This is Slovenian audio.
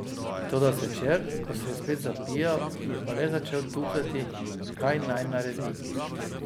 Toda zvečer, ko se je spet zapijal, je pa le začel tuhtati, kaj naj naredi.